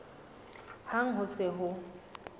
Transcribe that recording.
hang ha ho se ho